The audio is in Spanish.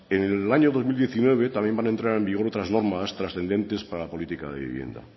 en el año dos mil diecinueve también van a entrar en vigor otras normas trascendentes para la política de vivienda